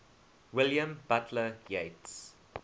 william butler yeats